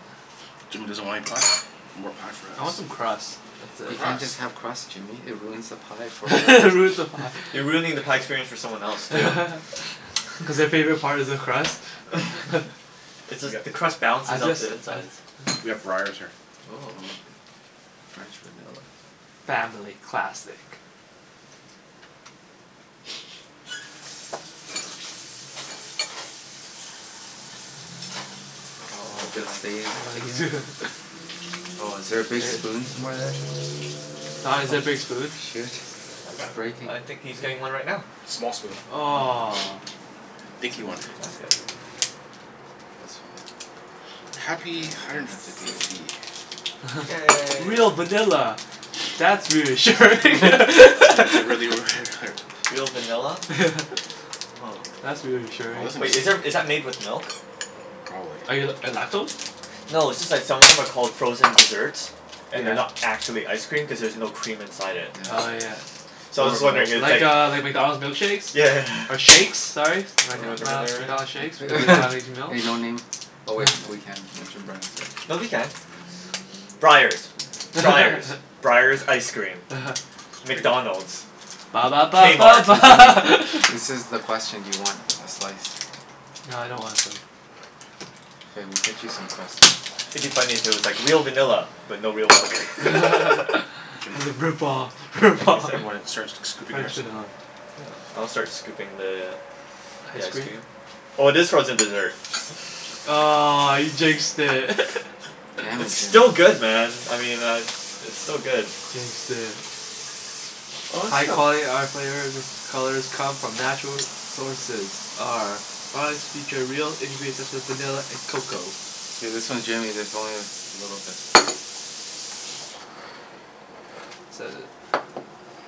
Jimmy doesn't want any pie? More pie for I want some us. crust. That's You it. can't just Crust? have crust, Jimmy. It ruins the pie for It everyone ruins the else. pie. You're ruining the pie experience for someone else, Yeah. too. Cuz their favorite part is the crust? It's We got just the crust I balances out just the I insides. We have Breyers here. Oh. Oh. French vanilla. Family classic. I Oh, I'm hope it feeling stays together. Oh, is there a big spoon somewhere there? Don, is Aha. there a big spoon? Shit. It's Huh? breaking. Uh, I think he's getting one right now. Small spoon. Oh. Aw. Dinky one. That's good. That's fine. Yeah, Happy you hundred didn't and have to deal with fifty. it. Yay. Real vanilla. That's reassuring! Is it really were their there? Real vanilla? Yeah. Oh. That's reassuring. Wow, Wait, this is there, thing's is that made with milk? Probably. Are you l- lactose? No, it's just that some of them are called frozen dessert and they're Yeah. not actually ice cream cuz there's no cream inside it. Oh Yeah. yeah. So I was Or just milk. wondering if it's like Like uh like McDonald's milkshakes? Yeah. Or shakes, sorry. Am I d- Or am I whatever al- they're at. McDonald's shakes? Hey no name. Oh wait, we can mention brand names here. No, we can. Yeah. Breyers. Yeah. Yeah. Breyers. Breyers ice cream. uh-huh. McDonald's. Ba ba ba ba K-Mart. ba Hey Jimmy. This is the question. Do you want a slice? Nah, I don't wanna K, we'll cut you some crust then. It'd be funny if it was like, "Real vanilla but no real milk." Jim. It's a rip-off. Thank you, rip-off. sir. You wanna start sc- scooping French yours? vanilla. Yeah. I'll start scooping the the Ice ice cream? cream. Oh, it is frozen dessert. Aw, you jinxed it. Damn it, It's still Jimmy. good, man. I mean I It's still good. Jinxed it. High quality. Our flavors colors come from natural sources. Our products feature real ingredients such as vanilla and cocoa. Okay, this one Jimmy's, this one is a little bit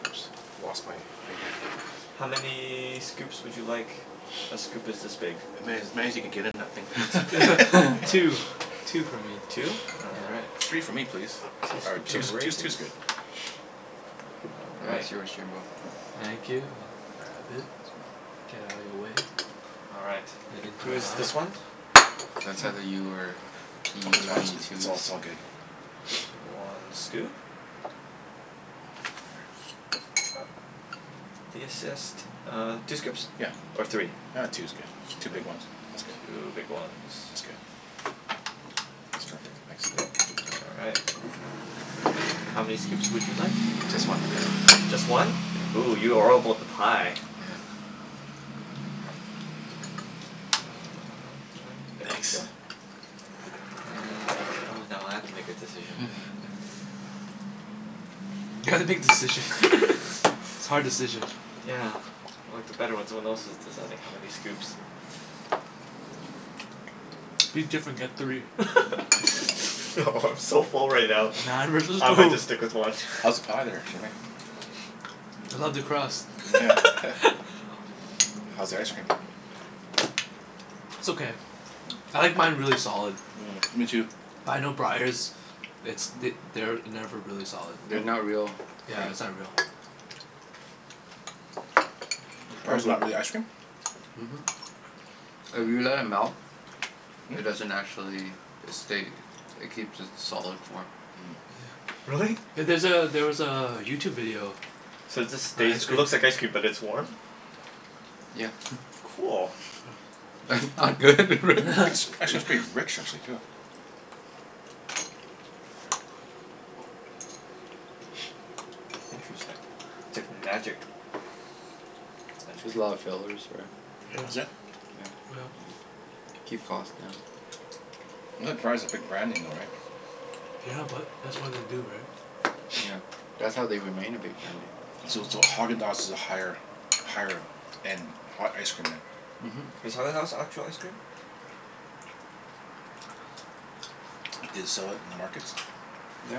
Oops, lost my thing here. How many scoops would you like? A scoop is this big. As many as many as you can get in that All right. thing. Two. Two for me. Two? All right. Yeah. Three for me please. Two All right, scoops two's of two's Yeah. raisins two's good. All That right. is yours, Jimbo. Thank you. I'll grab it. Get outta your way. All right. And into my Who's mouth. this one? That's either Mm. you or p Open mouths, twenty it's two's. all it's all good. One scoop. If you insist. Uh, two scoops Yeah. or three? Ah, two's good. K. Two big ones. That's good. Two big ones. That's good. That's perfect. Yep. Thanks. All right. How many scoops would you like? Just one, please. Just one? Yeah. Ooh, you are all about the pie. Yeah. There we go. And oh, now I have to make a decision. You have to make decision. It's hard decision. Yeah, I liked it better when someone else was deciding how many scoops. Be different. Get three. No, I'm so full right now. Man versus I might foo- just stick with one. How's the pie there, Jimmy? I love the crust. Nyeah. How's the ice cream? It's okay. Mm. I like mine really solid. Mm, me too. But I know Breyers it's th- they're never really solid. They're not No? real Yeah, cream. it's not real. Breyers not really ice cream? Mhm. If you let it Hmm. melt it doesn't actually, Hmm? it stay it keeps its solid Mm. form. Yeah. Really? Yeah, there's a, there was a YouTube video. So it just On stays, ice it cream. looks like ice cream but it's warm? Yeah. Cool. That's not good, real Actually it's pretty rich, actually, too. Interesting. It's like magic. There's a lot of Magic. fillers, right? Yeah. Is it? Yep. Yeah. Keep cost down. I thought Breyers is a big brand name though, right? Yeah, but that's why they do, right? Yeah, that's how they remain a big brand name. So so Häagen-Dazs is a higher higher end ha- ice cream then? Mhm. Is Häagen-Dazs actual ice cream? Do they sell it in the markets? Yeah.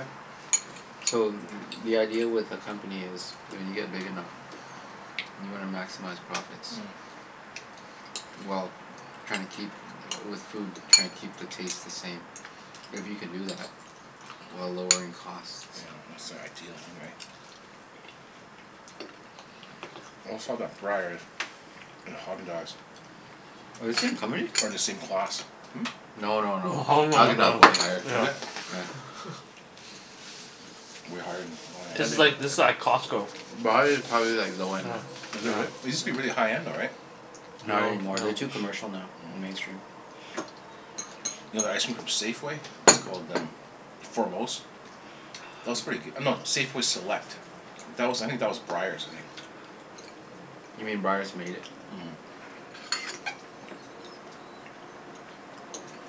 So the idea with a company is when you get big enough you wanna maximize profits. Mm. Well, trying to keep, with food, trying to keep the taste the same. If you can do that while lowering costs Yeah, that's the ideal thing, right? Always thought that Breyers and Häagen-Dazs Are the same company? are in the same class. No no no. Oh, no Häagen-Dazs No? is no. way higher. Yeah. Is it? Yeah. Way higher than, oh I This yeah. is didn't like, this know is that like about Costco. Breyers is probably like low Yeah, end. Is it really? It yeah. used to be Yeah. really high-end though, right? Not any No, more. no. They're too commercial now and mainstream. Mm. You know that ice cream from Safeway? What's it called, um Foremost? That was pretty goo- no, Safeway Select. That was I think that was Breyers, I think. You mean Breyers made it?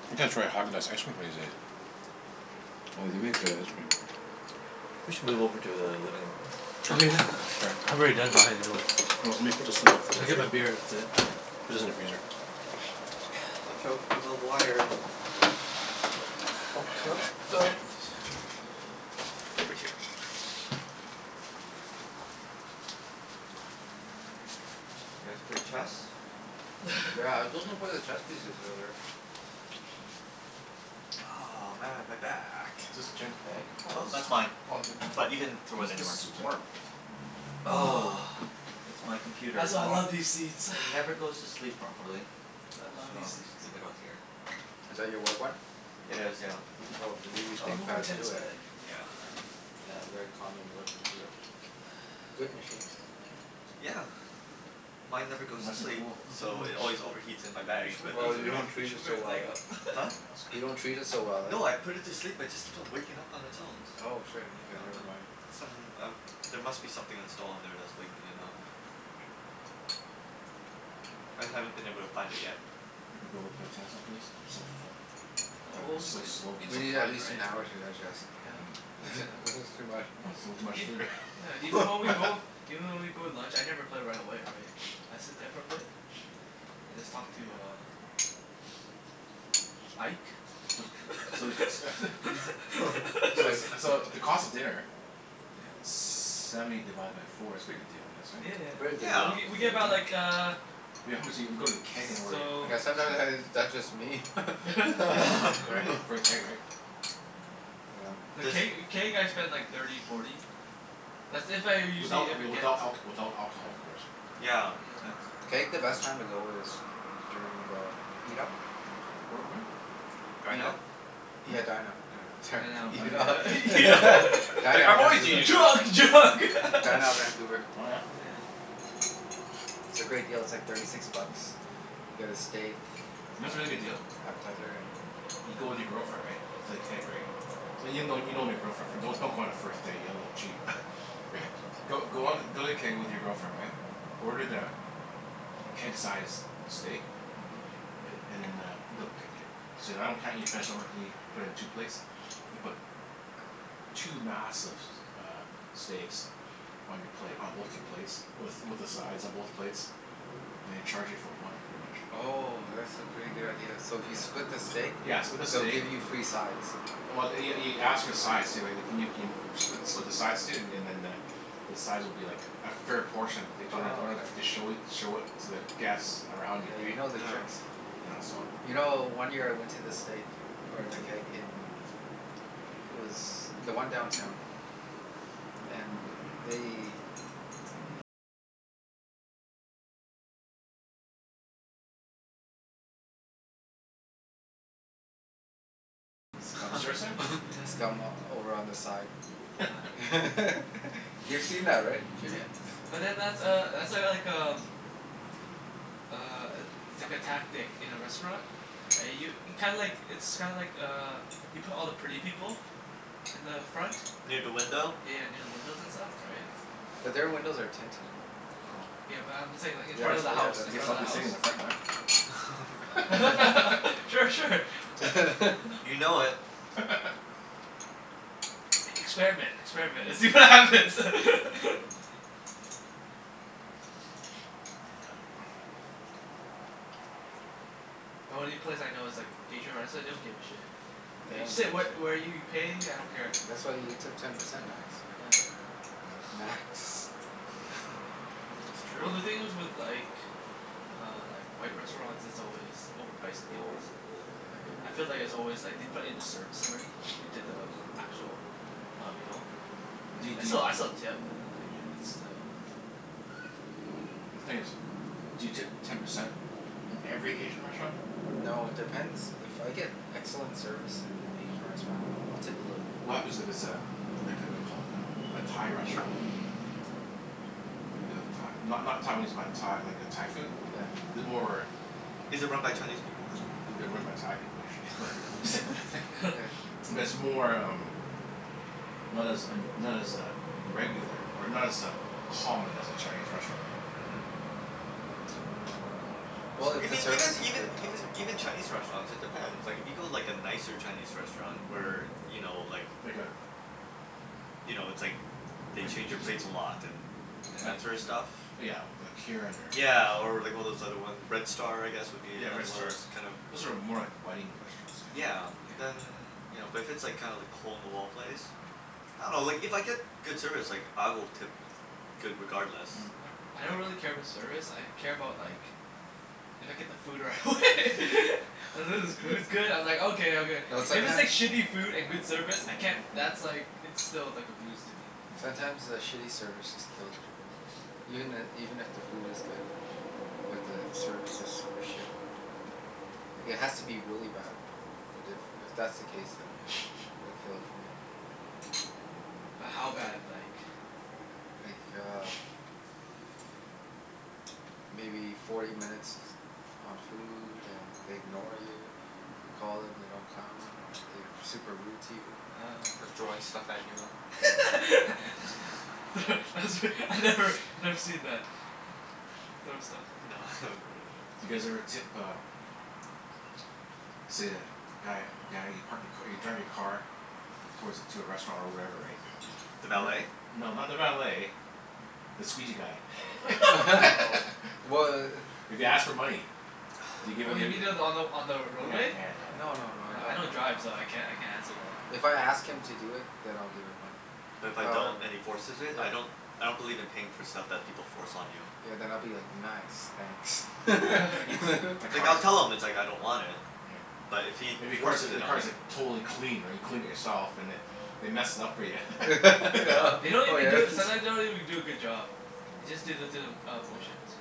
Mhm. I gotta try Häagen-Dazs ice cream one of these days. Oh, they make good ice cream. We should move over to the living room. Oh. Oh yeah. Sure. I've already done mine anyway. Well, let me put this in Let me there get my beer, that's it. Put this in the freezer. Watch out for the l- wires and The Oh cup? towel, Oh. put Mm. it over here. You guys play chess? Yeah, I was looking for the chess pieces earlier. Oh, man, my back. Is this Jen's bag? Woah, Oh, this is that's mine. Oh, is it? But you can throw What it is, this anywhere. is warm? Oh, Ah, it's Huh? my computer. that's why I Oh. love these seats. It never goes to sleep properly. That's why I love So these I'll just seats uh leave it out here. Oh. Is that your work one? It is, yeah. Oh, they give you I'll move my Thinkpads tennis too, eh? bag Yeah. Yeah, very common work computer. Good machines. Yeah. Mine never goes to Nice and sleep cool. so Mhm. it always overheats in my You bag, should put, but you Oh, that's should put, you okay. don't you treat should it put so your well, leg eh? up. Huh? No, it's You don't okay. treat it so well, eh? No, I put it to sleep. It just keeps waking up on its own. Oh, shit. Like, Okay, I never dunno mind. Some, um there must be something installed on there that's waking it up. I haven't been able to find it yet. Think we'll be able to play tennis after this? I'm so full. Probably O- be oh but so th- I- we'll slow. give We some need at time, least an right? hour to digest. Yeah, Mm. at least an This is hour. too much. Oh, it's a little too Yeah, much ev- food, yeah, even when we go eh? even when we go to lunch, I never play right away, right? I sit there for a bit and just talk to Can I uh uh Ike. C- so the c- t- So Ike. it's so the cost of dinner Yeah. Seventy divided by four. It's a pretty good deal I guess, Yeah yeah right? Very yeah. good W- deal. Yeah. w- we get Very buy good Yeah. like de- uh We how much eat if we go to the Keg and order i- So Yeah sometime steak has that's just me. Right? For the Keg, right? Yeah. Th- Does can't y- can't you guys spend like thirty, forty? That's if I owe usually, Without if I w- get without alc- without alcohol Yeah. of course. Yeah, Yeah. that's Keg, the best time to go is during the m- Eat Up. Where at when? Dine Eat Out? up. Hmm? Yeah, Dine out, Dine Out. Sorry. Dine Oh, Out, Dine Eat Up. yeah yeah Out, You yeah. don- right. Dine like, Out "I'm always Vancouver. eating out." Drug! Drug! Mm, Dine Out Vancouver. Oh yeah? Yeah. It's a great deal. It's like thirty six bucks. You get a steak, You know what's a really good deal? uh, appetizer and You go with your girlfriend, right? To the Mm. Keg, right? And you'll know you've known your girlfriend for don- don't go on a first date. You'll look cheap. Go go on th- go to the Keg with your girlfriend, right? Order the keg-sized steak. Mhm. A- and then uh, they'll c- e- Say I don't can't eat finish, and I'm like can ye- put it in two plates? They put two massive s- uh steaks on your plate, on both your plates with with the sides on both plates. And they charge you for one, pretty much. Oh, that's a pretty good Oh. idea. So if you Yeah. split the steak Yeah, split the they'll steak give you free sides. Well th- y- y- you ask for the sides too, right? Can you keen- spli- split the sides too, and and then the the sides will be like a fair portion they don't Oh, don't have okay. to show it show it to the guests around you, Yeah, you right? know their Yeah. tricks. Yeah. Yeah, so You know, Yeah. one year I went to the steak or the Keg in it was the one downtown. And they Huh. scum Seriously? Yeah. scum over on the side. Yeah. You've seen that, right Jimmy? Yeah. But then that's uh that's uh like um uh, i- it's like a tactic in a restaurant. I Yeah. u- kinda like, it's kinda like uh you put all the pretty people in the front. Near da window? Yeah, near the windows and stuff, right? So But their windows are tinted and Oh. Yeah, but I'm saying like in I Yeah, front guess of the oh yeah, house. I In that's guess right front I'll of the be sitting house. in the front then. Yeah. Sure. Sure. You know it. Experiment. Experiment, and see what Mm. happens. Yeah. The only place I know is like Asian restr- they don't give a shit. Yeah, they You don't sit give a wh- shit. where you pay, I don't Yeah, care. that's why you tip Yeah. ten percent max, right? Yeah. Not Max. Yeah. That's Well true. the thing is with like uh like, white restaurants, it's always overpriced anyways. Yeah. Yeah. I feel like it's always like they put in the service already into the actual uh, meal. But do Right? y- I do still I y- still tip, but then like Yeah. it's still, yeah. The thing is, do you tip ten percent in every Asian restaurant? No, it depends. If I get excellent service in an Asian restaurant I'll tip a little bit What more. happens it it's Yeah. a like a whaddya call it? Um, a Thai restaurant? You know, Thai not not Taiwanese, but Tha- like uh Thai food? Yeah. The more Is it run by Chinese people? They're run by Thai people, usually but Yeah. But it's more um not as un- not as uh regular, or not as um, common as a Chinese restaurant, right? Mhm. Well, So if the Even even service is even good I'll even tip more. even Chinese restaurants, it depends. Like if you go like Yeah. a nicer Chinese restaurant where, Mhm. you know, like Like a you know, it's like they like change your plates a lot and and Like that Yeah. sorta stuff? li- yeah, we- like Kirin or Yeah, or like one of those other one, Red Star I guess would be Yeah, Red another one of Star. those kinda Those are more like wedding restaurants, I think. Yeah, Yeah. then you know, but if it's kinda like the hole in the wall place. Mhm. I dunno, like if I get good service like I will tip good regardless. Yeah. I don't Like really care about service, I care about like if I get the food right Mm. away. As long Mm. as the food's good, I'm like okay, okay. No, If it's like sometimes shitty food and good service, I can't that's like, it's still like a lose to me. sometimes the Mm. shitty service just kills it for me. Even i- even if the food is good but the service is super shit. Mm. It has to be really bad. But if if that's the case then Yeah. it'd kill it for me. But how bad, like? Like uh maybe forty minutes on food and they ignore you. You call them, they don't come. Or they're super rude to you. Oh. They're throwing stuff at you. Yeah. Mm. Thro- that's re- I've never, I've never seen that. Throw stuff off No, I haven't really. Do you guys ever tip uh let's say a guy guy you park your ca- you drive your car towards a, to a restaurant or wherever, right? Mm. The valet? And No, not the valet the squeegee guy. Oh. Wh- If he i- asks for money? Do you give Oh it y- you mean y- the, on the on the Yeah roadway? yeah yeah yeah. No no no, I Oh, I don't don't drive so I can't I can't answer that. If I ask him to do it then I'll give him money. But if I don't However Yeah. and he forces it? Yeah. I don't I don't believe in paying for stuff that people force on you. Yeah, then I'll be like, "Nice, thanks." Right. You've clea- my Like I'll car's tell him it's like I don't want it. Yeah. But if he If your car's forces like, it the on me car's like totally clean right? You cleaned it yourself and then they mess it up for ya. Yeah. Yeah. They don't even do a, sometimes they don't even do a good job. They just do the through the uh Yeah. motions.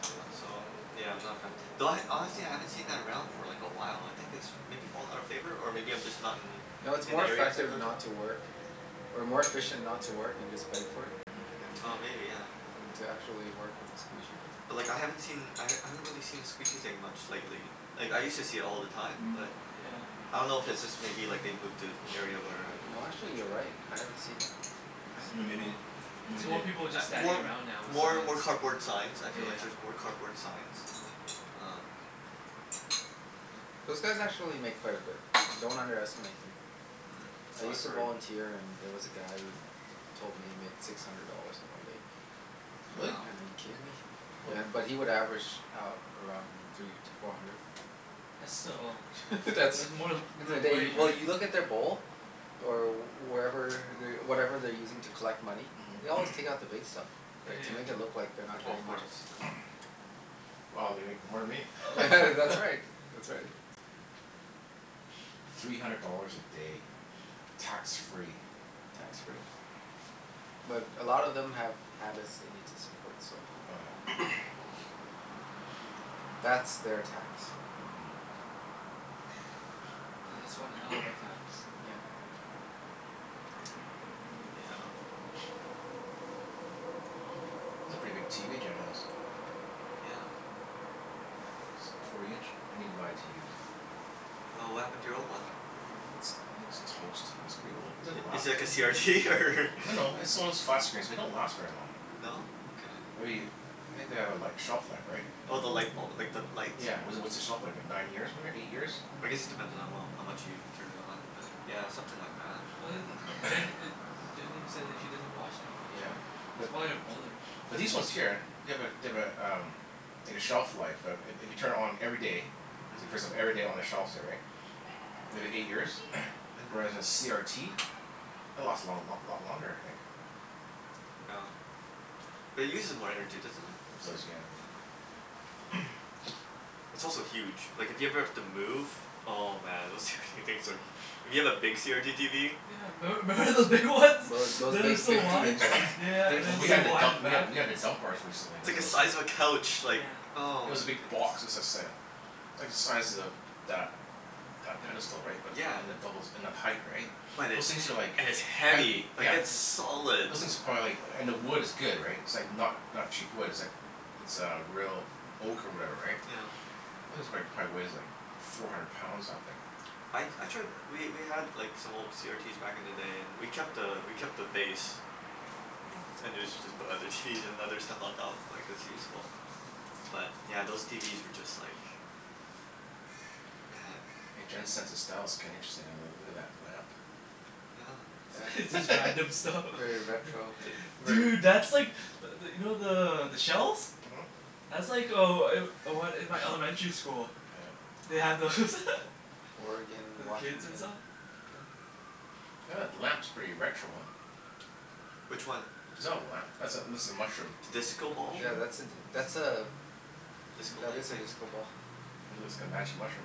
Yeah, so I'm yeah, I'm not a fan. Though I, honestly I haven't seen that around for like a while. I think it's maybe fallen out of favor? Or maybe I'm just not in No, it's in more the areas I effective go to? not to work or more efficient not to work and just beg for it, yeah than Oh, Yeah. maybe, yeah. than to actually work and squeegee. Yeah. But like I haven't seen I Mhm. h- I haven't really seen the squeegee thing much lately. Like, I used to see it all the time, but Yeah. Yeah. I don't know if it's just maybe like they've moved to Mhm. area where I don't No actually, you're venture. right. I haven't seen Yeah. it. I haven't Right? seen Then it in a maybe, while. Yeah. It's maybe they more people A just standing more around now with more signs. more cardboard signs. I Yeah feel yeah like yeah. there's more cardboard signs. Um Yeah. Those guys actually make quite a bit. Don't underestimate them. Mm, I Mm. so I've used Mm. to heard. volunteer and there was a guy who told me he made six hundred dollars in one day. Like, oh Really? Wow. man, are you kidding me? Holy. Yeah, but he would average out around three to four hundred. That's still, it's That's it's more than that's in a minimum day. wage, Well, right? you look in their bowl or wherever whatever they're using to collect money. They always take out the Mm. big stuff, Yeah right? yeah To make it look yeah. like they're not Oh, of getting much. course. Yeah. Yeah. Mhm. Wow, they make more than me. Yeah, Yeah. that's right. That's right. Three hundred dollars a day. Tax free. Tax free. But a lot of them have habits they need to support, so Oh yeah. that's Yeah. their tax. Mm. And Hmm. that's one hell of a tax. Yeah. Oh. Yeah. That's a pretty big TV Jen has. Yeah. That's like forty inch? I need to buy a TV, so Oh, what happened to your old one? Wh- uh It's, I think it's toast. It's pretty old. Mm. It didn't I- is last it like v- a CRT, or No no, it's the one of those flat screens, they don't last very long. No? Okay. Maybe, I think they have a li- shelf life, right? Oh, the lightbul- like, the light? Yeah, w- what's the shelf life, like nine years ma- eight years? I guess it depends on how well, how much you turn it on but yeah, something like that. Well a m- Jen e- Jen even says like she doesn't watch that much, Yeah, right? It's but probably her brother. But these ones Yeah. here, they have a they have a um like a shelf life. I- i- if you turn it on every day so you first them Mhm. every day on a shelf, say, right? If it eight years? Mhm. Whereas a CRT it'll last a long lot lot longer I think. Yeah. But it uses more energy, doesn't it? It does, Huh. Yeah. yeah. It's also huge. Like, if you ever have to move oh man, those tw- things are hu- If you have a big CRT TV. Yeah, memb- member those big ones? Mm. Th- those They were big so fifty wide. inch ones? Yeah yeah yeah, They're and it Well, was we so had to huge. wide dump, in the we had back. t- we had to Yeah. dump ours recently, It's cuz like it a was size of a couch. Like, Yeah. It oh was a big goodness. box. It was like say a like the size of that that Yep. pedestal, right? But, Yeah. and the doubles and then height, right? But Those it's he- things are like and it's heavy. heavy. Yeah. Like Yeah. it's solid. Those things are Yeah. probably like, and the wood is good, right? It's It's like not not cheap wood. It's like It's uh real oak or whatever, right? Yeah. This is like, probably weighs like four hundred pounds, that thing. I Mm. I tried, we we had like some old CRTs back in the day and we kept a we kept the base. Mm. And usually just put other TVs and other stuff on top. Like, it's Yeah. useful. But yeah, those TVs were just like man. Hey, Yeah. Jen's sense of style's kinda interesting. I uh look at that lamp. Yeah. It's Yeah. just random stuff. Very Yeah. retro, hey? Th- Very Dude, that's like but th- you know the the shells? Mhm. That's like oh I'm one in my elementary school. Yeah uh They had those. Aw. Oregon, For the kids and Washington. saw? Yeah. Yeah that lamp's pretty retro, huh? Which one? Is that a lamp? That's a, looks like a mushroom. The disco The ball? Yeah, mushroom? that's a d- that's a Disco that light is a thing? disco ball. Mhm. It looks like a magic mushroom.